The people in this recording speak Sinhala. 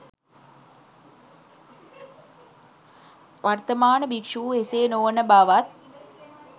වර්තමාන භික්‍ෂූහු එසේ නොවන බවත්